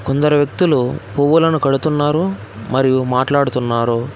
కొందరు వ్యక్తులు పువ్వులను కడుతున్నారు మరియు మాట్లాడుతున్నారు.